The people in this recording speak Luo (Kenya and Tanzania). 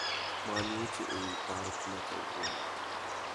Many weche ewi park ma kawuono